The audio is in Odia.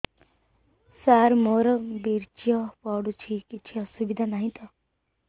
ସାର ମୋର ବୀର୍ଯ୍ୟ ପଡୁଛି କିଛି ଅସୁବିଧା ନାହିଁ ତ